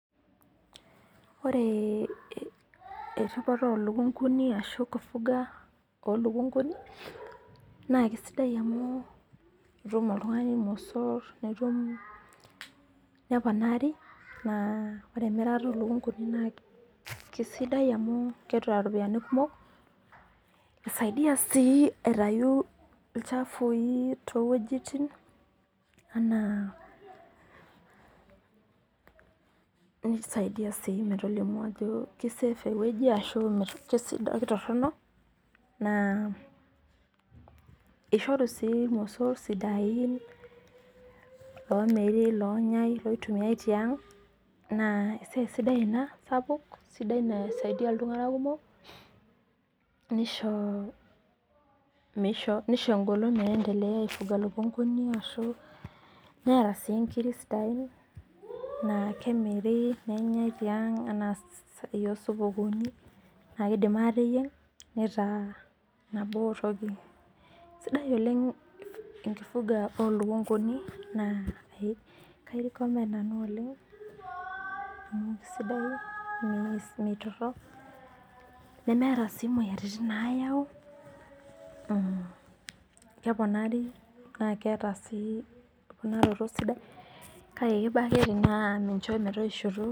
Or both bee eripoto ooo lukunguni arashh kufuga oo lukunguni naa kesidai amuu itun oltung'ani irmosor nitum neponari naa ore emirata oo lukunguni naa kesidai amu keetaa iropiyani kumok neisaidia sii atayu ilchafuyi too wejitin anaa nesaidia sii metolimu ajo kei save eweji aashu kesi keitoronok naa eishoru sii irmosor sidain oomiri, loonyae, oitumiai tiiang' naa esiai inaa sapuk sidai naisaidia iltung'anak kumok neishoo meishoo engolon peiendelea aifuga ilukunguni arashu Neeta sii inkirik sidain naa keniri nenyae tiang' anaa saii oo supukoni naa keidim ateyieng neitaa naboo otoki sidai oleng' enkifuga oo lukunguni naa Kai recommend nanu oleng' amu kesidai meitorik nemeeta sii imoyiaritin nayau ,keponari naa keeta sii emponaroto sidai kake keiba ake tenaa mincho metoishoto.